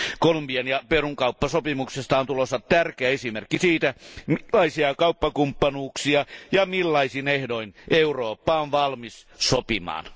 Kolumbian ja Perun kauppasopimuksesta on tulossa tärkeä esimerkki siitä, minkälaisia kauppakumppanuuksia ja millaisin ehdoin Eurooppa on valmis sopimaan.